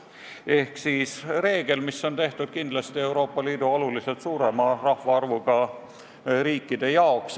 Ehk siis tegu on reegliga, mis on tehtud kindlasti Euroopa Liidu märksa suurema rahvaarvuga riikide jaoks.